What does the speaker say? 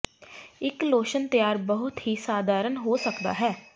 ਇੱਕ ਲੋਸ਼ਨ ਤਿਆਰ ਬਹੁਤ ਹੀ ਸਧਾਰਨ ਹੋ ਸਕਦਾ ਹੈ